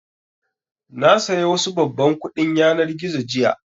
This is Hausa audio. Na saya wasu babban kuɗin yanar gizo jiya